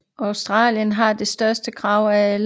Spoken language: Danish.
Australien har det største krav af alle